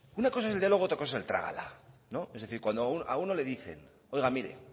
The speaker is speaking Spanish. una cosa es el diálogo y otra cosa es el trágala es decir cuando a uno le dicen oiga mire